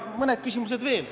Mõned küsimused on veel.